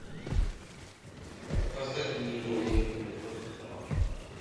поставь мне игру ливерпуля с тоттенхэмом